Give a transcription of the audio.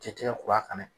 Tɛ tigɛ kura fana